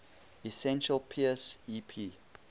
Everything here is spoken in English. essential peirce ep